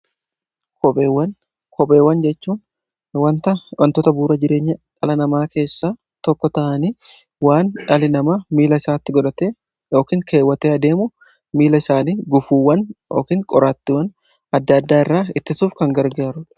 Kopheewwan jechuun wanta wantoota buura jireenya dhala namaa keessa tokko ta'anii, waan dhali namaa miila isaatti godhate yookiin keewwate adeemu miila isaanii gufuuwwan yookin qoraattiwwan adda addaa irraa ittisuuf kan gargaarudha.